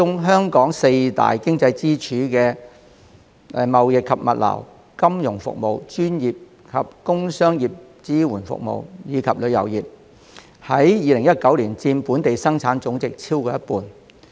香港四大經濟支柱產業包括貿易及物流業、金融服務業、專業及工商業支援服務業，以及旅遊業，在2019年佔本地生產總值超過一半。